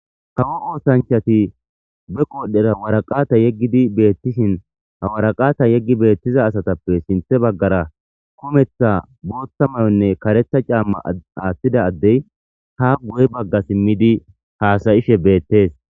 Kawo oosanchati beqoodara waraqqate yeggidi beettishin ha waraqqata yeggi beetiza asatappe sinthabaggaara kemetha bootha mayonne karetha caamma aathida addey haa guye bagga simmidi haasa7ishe beettees.